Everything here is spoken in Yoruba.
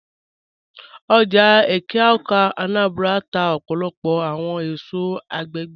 Oja Eke-Awka (Anambra) n tà ọpọlọpọ awọn èṣọ̀ agbẹ̀gbẹ̀